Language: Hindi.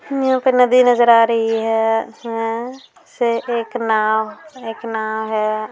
यहाँ पर नदी नज़र आ रही है अ से एक नाव एक नाव है।